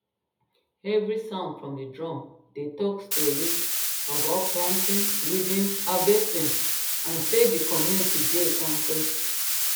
every sound from the drum dey talk story about planting weeding harvesting and and say the community dey kampe